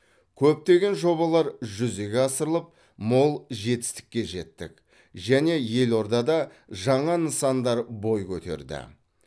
көптеген жобалар жүзеге асырылып мол жетістікке жеттік және елордада жаңа нысандар бой көтерді